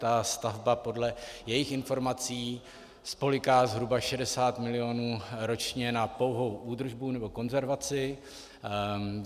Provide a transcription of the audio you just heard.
Ta stavba podle jejich informací spolyká zhruba 60 milionů ročně na pouhou údržbu nebo konzervaci.